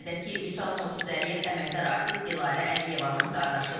Qeyd edək ki, Vüsal Murtuzəliyev əməkdar artist Dilarə Əliyevanın qardaşıdır.